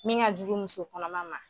Min ŋa jugu muso kɔnɔma ma